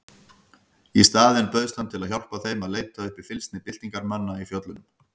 Í staðinn bauðst hann til að hjálpa þeim að leita uppi fylgsni byltingarmanna í fjöllunum.